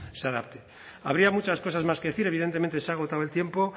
se adapte habría muchas cosas más que decir evidentemente se ha agotado el tiempo